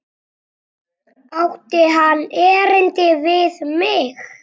Átti hann erindi við mig?